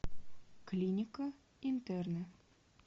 клиника интерны